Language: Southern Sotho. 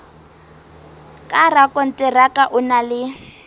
ka rakonteraka o na le